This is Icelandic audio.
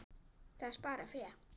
Það sparar fé.